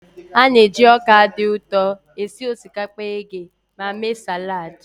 A na-eji ọka dị ụtọ esi osikapa eghe ma mee salad.